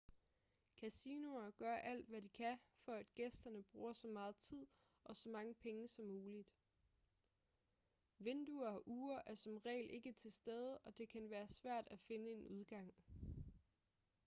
kasinoer gør alt hvad de kan for at gæsterne bruger så meget tid og så mange penge som muligt vinduer og ure er som regel ikke til stede og det kan være svært at finde en udgang